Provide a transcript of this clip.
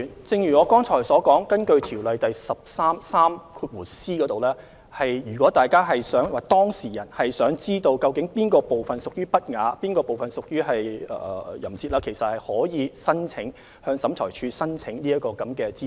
正如我剛才所說，根據《條例》第 143c 條，如果當事人想知悉究竟書中哪部分屬淫褻或不雅，可以向審裁處申請以取得有關資訊。